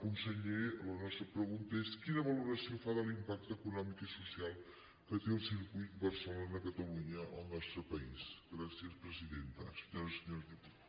conseller la nostra pregunta és quina valoració fa de l’impacte econòmic i social que té el circuit barcelona catalunya al nostre país gràcies presidenta senyores i senyors diputats